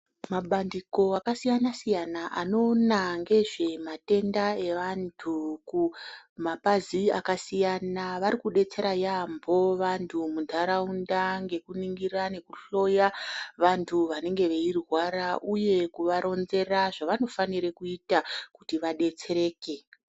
Mabandiko akasiyanasiyana anoona ngezvematenda evantu kumapazi akasiyana varikudetsera yaamho vantu munharaunda ngekuningira nekuhloya vantu vanenge veirwara uye kuvaronzera zvanofanire kuita kuti vadetsereke.